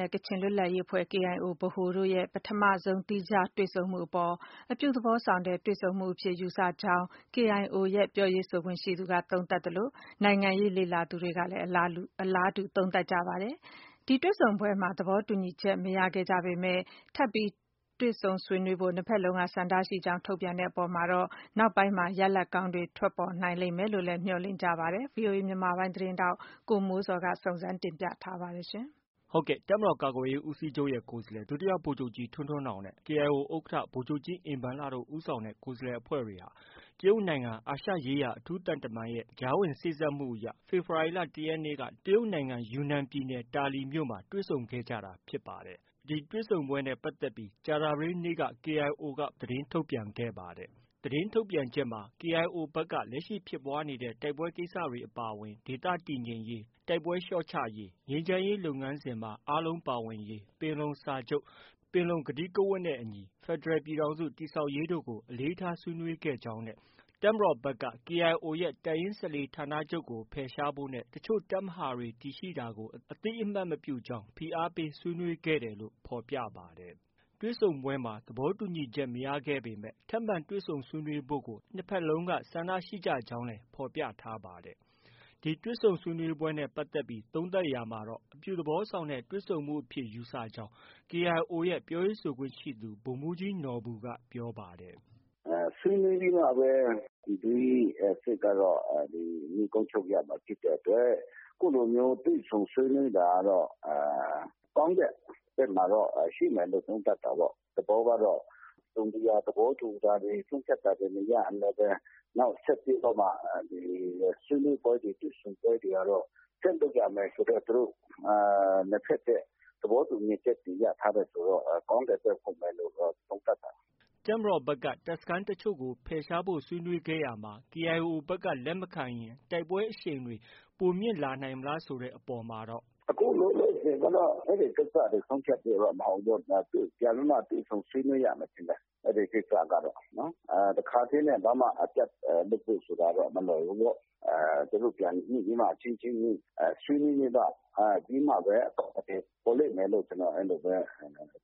နဲ့ ကချင်လွတ်လပ်ရေးအဖွဲ့ KIO ဗဟိုတို့ရဲ့ ပထမဆုံး သီးခြား တွေ့ဆုံမှုအပေါ် အပြုသဘောဆောင်တဲ့ တွေ့ဆုံမှုအဖြစ် ယူဆကြောင်း KIO ရဲ့ ပြောရေးဆိုခွင့်ရှိသူက သုံးသပ်သလို နိုင်ငံရေး လေ့လာသူတွေကလည်း အလားတူ သုံးသပ်ပါတယ်။ ဒီတွေ့ဆုံပွဲမှာ သဘောတူညီချက် မရခဲ့ကြပေမဲ့ ထပ်မံ တွေ့ဆုံဆွေးနွေးဖို့ နှစ်ဖက်စလုံးက ဆန္ဒရှိကြောင်း ထုတ်ပြန်တဲ့အပေါ်မှာတော့ နောက်ပိုင်းမှာ ရလဒ် ကောင်းတွေ ထွက်ပေါ်လာနိုင်မယ်လို့ မျှော်လင့်ကြပါတယ်။ ဒီသတင်းကိုတော့ ဗွီအိုအေ မြန်မာပိုင်းရဲ့ သတင်းထောက် ကိုမိုးဇော်က တင်ပြထားပါတယ်။ တပ်မတော် ကာကွယ်ရေးဦးစီးချုပ် ကိုယ်စားလှယ် ဒုဗိုလ်ချုပ်ကြီး ထွန်းထွန်းနောင်နဲ့ KIO ဥက္ကဌ ဗိုလ်ချုပ်ကြီး အင်ဘန်လတို့ ဦးဆောင်တဲ့ ကိုယ်စားလှယ်အဖွဲ့တွေဟာ တရုတ်နိုင်ငံ အာရှရေးရာ အထူး သံတမန်နဲ့ ကြားဝင်စေ့စပ်မှုအရ ဖေဖော်ဝါရီလ ၁ရက်နေ့ တရုတ်နိုင်ငံ ယူနန်ပြည်နယ် တာလီမြို့မှာ တွေ့ဆုံခဲ့ကြတာ ဖြစ်ပါတယ်။ ဒီတွေ့ဆုံပွဲနဲ့ပတ်သက်ပြီး ကြာသပတေးနေ့က KIO က ပထမဆုံး သတင်း ထုတ်ပြန်ခဲ့ပါတယ်။ သတင်းထုတ်ပြန်ချက်မှာ KIO ဖက်က လက်ရှိဖြစ်ပွားနေတဲ့ တိုက်ပွဲကိစ္စတွေ အပါအဝင် ဒေသတည်ငြိမ်ရေး၊ တိုက်ပွဲလျော့ချရေး၊ ငြိမ်းချမ်းရေးလုပ်ငန်းစဉ်မှာ အားလုံးပါဝင်ရေး၊ ပင်လုံစာချုပ်၊ ပင်လုံကတိကဝတ်နဲ့ အညီ ဖက်ဒရယ် ပြည်ထောင်စု တည်ဆောက်ရေးတို့ကို အလေးထား ဆွေးနွေးခဲ့ကြောင်း၊ တပ်မတော်ဖက်က တပ်ရင်း ၁၄ဌာနချုပ်ကို ဖယ်ရှားဖို့နဲ့ တချို့ တပ်မဟာတွေ တည်ရှိတာကို အသိအမှတ်မပြုကြောင်း ဖိအားပေး ဆွေးနွေးခဲ့တယ်လို့ ဖော်ပြပါတယ်။ တွေ့ဆုံပွဲမှာ သဘောတူညီချက် မရခဲ့ကြပေမဲ့ ထပ်မံ တွေ့ဆုံဆွေးနွေးဖို့ကို နှစ်ဖက်လုံးက ဆန္ဒ ရှိကြကြောင်းလည်း ဖော်ပြထားပါတယ်။ ဒီတွေ့ဆုံဆွေးနွေးပွဲနဲ့ပတ်သက်ပြီး သုံးသပ်ရာမှာတော့ အပြုသဘောဆောင်တဲ့ တွေ့ဆုံမှုအဖြစ် ယူဆကြောင်း KIO ရဲ့ ပြောရေးဆိုခွင့်ရှိသူ ဗိုလ်မှုးကြီး နော်ဘူက ပြောပါတယ်။ “ဆွေးနွေးပြီးမှပဲ ပြည်တွင်းစစ်ကတော့ နိဂုံးချုပ်ရမှာဖြစ်တဲ့အတွက် အခုလိုမျိုးတွေ့ဆုံဆွေးနွေးတာကတော့ ကောင်းတဲ့ဖက်မှာတော့ ရှိမယ်လို့ သုံးသပ်တာပေါ့။ သဘောကတော့ တစုံတရာ သဘောတူတာတွေ၊ ဆုံးဖြတ်တာတွေ မရရင်လည်းဘဲ နောက် ဆက်ပြီးတော့မှ ဆွေးနွေးပွဲတွေ တွေ့ဆုံပွဲတွေကတော့ ဆက်လုပ်ရမယ်ဆိုတဲ့ သူတို့ နှစ်ဖက်ရဲ့ သဘောတူညီချက်တွေ ရထားတယ်ဆိုတော့ ကောင်းတဲ့ဖက် ဟုတ်မယ်လို့တော့ သုံးသပ်တာပဲ။” တပ်မတော်ဖက်က တပ်စခန်းတချို့ကို ဖယ်ရှားဖို့ ဆွေးနွေးခဲ့ရာမှာ KIO ဖက်က လက်မခံရင် တိုက်ပွဲအရှိန်တွေ ပိုမြင့်လာနိုင်မလားဆိုတဲ့ အပေါ်မှာတော့ - “ အခုလောလောဆည်ကတော့ အဲဒီကိစ္စတွေ ဆုံးဖြတ်ဖို့တော့ မဟုတ်ဘူးပေါ့ဗျာ။ ပြန်ပြီးမှ တွေ့ဆုံ ဆွေးနွေးရမယ် ထင်တယ်။ အဲဒီကိစ္စကတော့၊ တခါတည်းနဲ့ အပြတ်လုပ်ဖို့ ဆိုတာကတော့ မလွယ်ဘူးပေါ့။ သူတို့ပြန်ညှိပြီးမှ အချင်းချင်း ဆွေးနွေးပြီးမှ အဖြေပေါ်လိမ့်မယ်လို့ ကျနေ်ာ အဲလိုပဲ